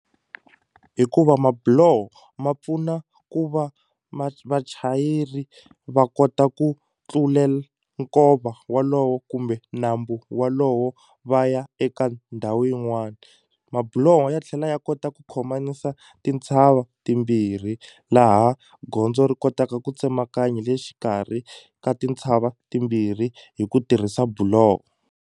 Hikuva mabuloho ma pfuna ku va va vachayeri va kota ku nkova walowo kumbe nambu walowo va ya eka ndhawu yin'wani mabuloho ya tlhela ya kota ku khomanisa tintshava timbirhi laha gondzo ri kotaka ku tsemakanya hi le xikarhi ka tintshava timbirhi hi ku tirhisa buloho.